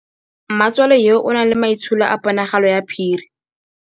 Mmatswale yo, o na le maitsholô a ponagalo ya phiri.